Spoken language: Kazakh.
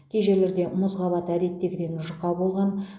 кей жерлерде мұз қабаты әдеттегіден жұқа болған